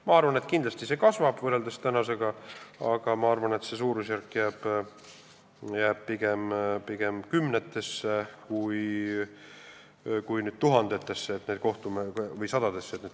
Ma arvan, et kindlasti see võrreldes tänasega kasvab, aga see kohtuasjade suurusjärk jääb pigem kümnetesse kui tuhandetesse või sadadesse.